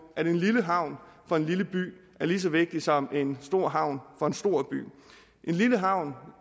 at en lille havn for en lille by er lige så vigtig som en stor havn for en stor by en lille havn